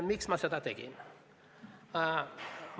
Miks ma seda tegin?